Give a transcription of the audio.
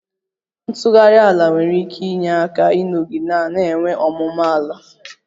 Ntughari ala nwere ike inye aka ịnọgide na-enwe ọmụmụ ala